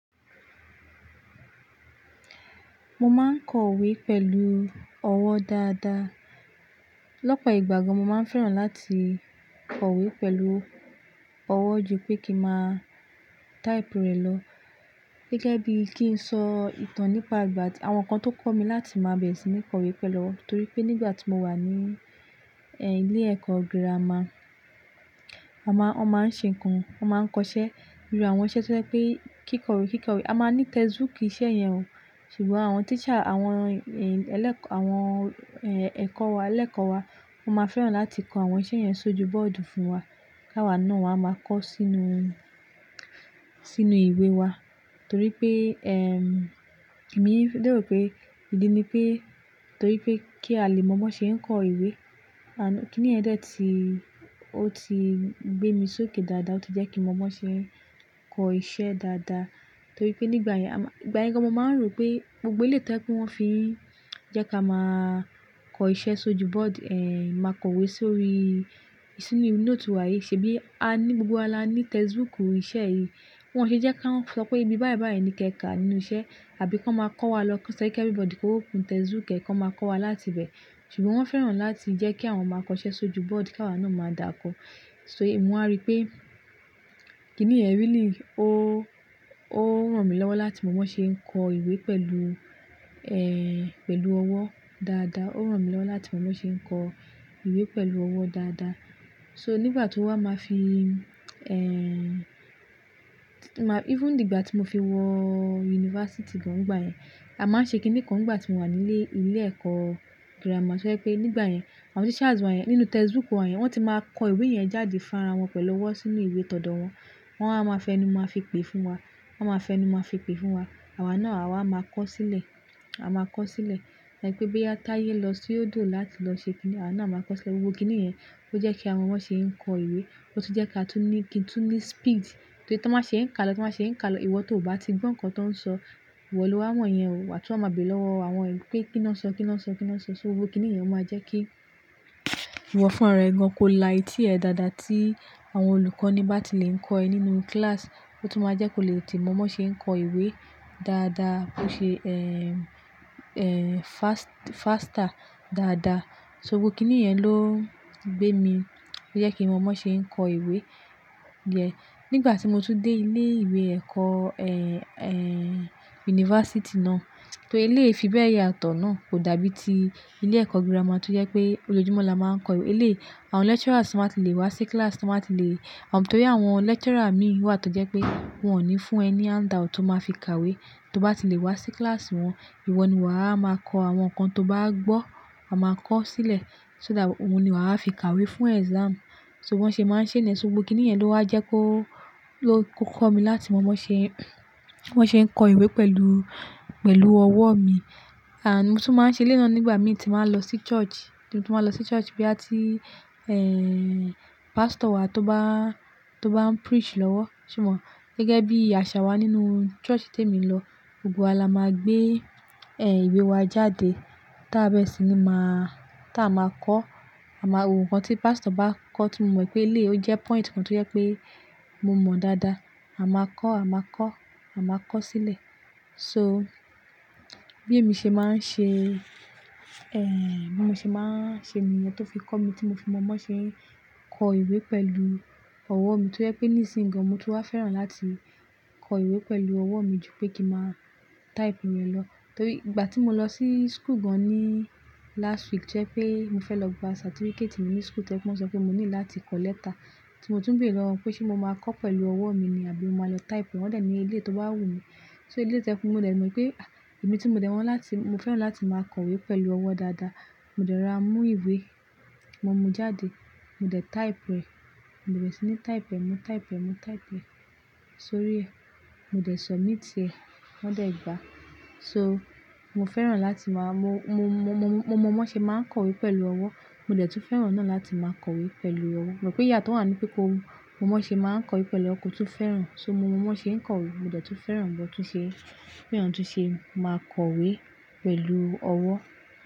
Mo máa ń kọ ìwé pẹ̀lú ọwọ́ dáadáa. Lọ́pọ̀ ìgbà gan, mo máa ń fẹ́ràn láti kọ ìwé pẹ̀lú ọwọ́ jù pé kí máa type rẹ̀ lọ. Gẹ́gẹ́ bí kíń sọ ìtàn nípa ìgbà tí àwọn ǹkan tó kọ́ mi láti máa bẹ̀rẹ̀ sí ní kọ ìwé pẹ̀lú ọwọ́, torí pé nígbà tí mo wà ní, ẹ́, ilé ẹ̀kọ́ girama, a máa, wọ́n máa ń ṣe ǹkan, wọ́n máa ń kọ iṣẹ́, irú àwọn iṣẹ́ tí wọ́n jẹ́ pé kí kọ ìwé, kí kọ ìwé. A máa ní textbook ìṣe yẹn o, ṣùgbọ́n àwọn teacher àwọn, ẹ́, ẹlẹ́kọ̀ọ́, àwọn, ẹ́, ẹ̀kọ́ wa, ẹlẹ́kọ̀ọ́ wa máa fẹ́ràn láti kọ àwọn iṣẹ́ yẹn sójú bọ́ọ̀dù fún wa. Káwà náà wa máa kọ sínú, sínú ìwé wa torí pé, ẹ́m, èmi lérò pé ìdí ni pé torí pé kí a lè mọ bí wọn ṣe ń kọ ìwé. And, kíni yẹn dẹ tí, ó ti gbé mi sókè dáadáa, ó ti jẹ́ kí mọ bí wọn ṣe ń kọ iṣẹ́ dáadáa. Torí pé nígbà yẹn, àmá, ìgbà yẹn gan mo máa ń rò pé gbogbo eléyìí tó jẹ́ pé won fin jẹ́ ká máa kọ iṣẹ́ sójú bọ́ọ̀dù, ẹ́n, máa kọ ìwé sórí, sínú note wa yìí ṣe bí a ní gbogbo wa la ní textbook ìṣe yìí. Wọn ṣe jẹ́ ká ń sọ pé ìbí báyìí báyìí ni kẹ́kà nínú iṣẹ́ àbí kọ́ máa kọ́ wa lọ́kàn sọ kí ẹ everybody kó open textbook ko máa kọ́ wa láti ibẹ̀. Ṣùgbọ́n wọ́n fẹ́ràn láti jẹ́ kí àwọn máa kọ iṣẹ́ sójú bọ́ọ̀dù kí àwa náà máa dàkọ. So èmi mo wa rí pé kíni yẹn really ó- ó ràn mí lọ́wọ́ láti mọ bí wọn ṣe ń kọ ìwé pẹ̀lú, ẹ́, pẹ̀lú ọwọ́ dáadáa. Ó ràn mí lọ́wọ́ láti mọ bí wọn ṣe ń kọ ìwé pẹ̀lú ọwọ́ dáadáa. So nígbà tó wa máa fi, ẹ́m, even nígbà tí mo fi wọ yunifásítì gan nígbà yẹn, a máa ń ṣe kíni kan nígbà tí mo wà ní ilé, ilé ẹ̀kọ́ girama. Tó jẹ́ pé nígbà yẹn, àwọn teachers wa yẹn, nínú textbook wọ́n yẹn, wọ́n ti máa kọ ìwé yẹn jáde fún ara wọn pẹ̀lú ọwọ́ sínú ìwé tọdọ wọn. Wọn wa máa fi ẹnu máa fi pè fún wa. Wọn máa fẹnu máa fi pè fún wa. Àwa náà àwa máa kọ sílẹ̀. A máa kọ sílẹ̀. Wípé bóyá táyé lọ sódò láti lọ ṣe kíni, àwa náà máa kọ sílẹ̀. Gbogbo kíni yẹn ó jẹ́ kí a mọ bí wọn ṣe ń kọ ìwé, ó tún jẹ́ kí a tún ní, kín tún ní speed. Torí tí wọ́n bá ṣe ń kà lọ, tí wọ́n bá ṣe ń kà lọ, ìwọ tó ò bá ti gbọ́ nǹkan tó ń sọ, ìwọ lọ́wa mo yẹn o, wà tún wa máa bẹ̀re lọ́wọ́ àwọn ẹ pé kí ni wọ́n ń sọ, kí ni wọ́n ń sọ, kí ni wọ́n ń sọ. So gbogbo kíni yẹn o máa jẹ́ kí ìwọ fúnra ẹ gan kó la etí dáadáa tí àwọn olùkọ́ ní bá ti lè ń kọ́ ẹ nínú kíláàsì. Ó tún máa jẹ́ kó lè tètè mọ bí wọn ṣe ń kọ ìwé dáadáa, ó ṣe, ẹ́m, ẹ́m, fast, faster dáadáa. So gbogbo kíni yẹn ló n gbé mi, ó jẹ́ kí mọ bí wọn ṣe ń kọ ìwé yẹn. Nígbà tí mo tún dé ilé ìwé ẹ̀kọ́, ẹ́n, ẹ́n, yunifásítì náà, torí eléyìí fibe yàtọ̀ náà kò dàbí ti ilé ẹ̀kọ́ girama tó jẹ́ pé olójúmọ́ la máa ń kọ ìwé. Eléyìí àwọn lecturers tan bá ti lè wá sí kíláàsì, tan bá ti lè-- torí àwọn lecturer mi wà tó jẹ́ pé wọ́n ní fún ẹ ni handout tó máa fi kàwé tó bá ti lè wá sí kíláàsì wọn. Ìwọ ni wà á máa kọ àwọn nǹkan tó bá gbọ́, wa máa kọ sílẹ̀ so that òun ni wà á fi kàwé fún exam. So bí wọ́n ṣe máa ń ṣe nìyẹn. So gbogbo kíni yẹn ló wá jẹ́ kó, ló, kó kọ́ mi láti mọ bí wọn ń ṣe, bí wọn ṣe ń kọ ìwé pẹ̀lú, pẹ̀lú ọwọ́ mi. And mo tún máa ń ṣe eléyìí náà nígbà mi ti máa ń lọ sí church. Mo tún máa lọ sí church bóyá tí, ẹ́n, pastor wa tó bá, tó bá ń preach lọ́wọ́. Sé mo? Gẹ́gẹ́ bí àṣà wa nínú church tí èmi lọ, gbogbo wa la máa gbé, ẹ́m, ìwé wa jáde táa bẹ́ẹ̀ sì ni máa, táa a máa kọ́. A máa wo ǹkan tí pastor bá kọ́ tí mo mọ̀ pé eléyìí ó jẹ́ point kan tó jẹ́ pé mo mọ̀ dáadáa, a máa kọ́, a máa kọ́, a máa kọ sílẹ̀. So bí èmi ṣe máa ń ṣe, ẹ́m, bí mo ṣe máa ń ṣe ni yẹn tó fi kọ́ mi tí mo fi mọ bí wọn ṣe ń kọ ìwé pẹ̀lú ọwọ́ mi tó jẹ́ pé nísìnyí gan mo tún wá fẹ́ràn láti kọ ìwé pẹ̀lú ọwọ́ mi jù pé kí máa type rẹ̀ lọ. Torí ìgbà tí mo lọ sí school gan ní last week jẹ́ pé mo fẹ́ lọ gba certificate mi ní school tẹ́lẹ̀ kí wọ́n sọ pé mo nílò láti kọ lẹ́tà. Tí mo tún béèrè wọn pé ṣé mo máa kọ pẹ̀lú ọwọ́ mi ni àbí mo máa lọ type wọ́n dẹ̀ ní ilé tó bá wù mí. So eléyìí tó jẹ́ pé mo dẹ̀ mọ̀ pé, a, èmi tí mo dẹ̀ mo láti, mo fẹ́ràn láti máa kọ ìwé pẹ̀lú ọwọ́ dáadáa. Mo dẹ̀ ra mú ìwé, mo mú jáde, mo dẹ̀ type rẹ̀, mo bẹ̀rẹ̀ sí ní type ẹ́, mo type ẹ́, mo type ẹ́ sórí ẹ́, mo dẹ̀ submit ẹ́, wọ́n dẹ̀ gbà. So mo fẹ́ràn láti máa, mo, mo, mo, mọ bí wọn ṣe máa ń kọ ìwé pẹ̀lú ọwọ́. Mo dẹ̀ tún fẹ́ràn náà láti máa kọ ìwé pẹ̀lú ọwọ́. Mo rò pé ìyátó wà ní pé ko mọ bí wọn ṣe máa ń kọ ìwé pẹ̀lú ọwọ̀ tún fẹ́ràn. So mọ bí wọn ṣe ń kọ ìwé, mo dẹ̀ tún fẹ́ràn bí wọ́n tún ṣe, bí eyan tún ṣe máa kọ ìwé pẹ̀lú ọwọ́.